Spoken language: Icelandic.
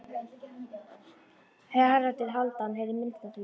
Haraldur Hálfdán heyrði minnst af því.